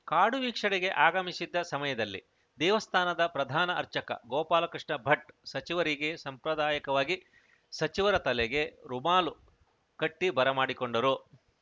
ಕಾಡು ವೀಕ್ಷಣೆಗೆ ಆಗಮಿಸಿದ್ದ ಸಮಯದಲ್ಲಿ ದೇವಸ್ಥಾನದ ಪ್ರಧಾನ ಅರ್ಚಕ ಗೋಪಾಲಕೃಷ್ಣ ಭಟ್‌ ಸಚಿವರಿಗೆ ಸಂಪ್ರದಾಯಕವಾಗಿ ಸಚಿವರ ತಲೆಗೆ ರುಮಾಲು ಕಟ್ಟಿಬರಮಾಡಿಕೊಂಡರು